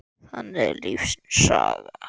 Þannig er lífsins saga.